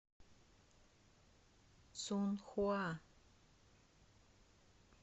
цунхуа